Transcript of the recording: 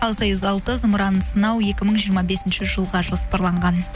ал союз алты зымыранын сынау екі мың жиырма бесінші жылға жоспарланған